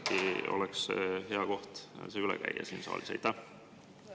Äkki oleks hea see siin saalis üle käia?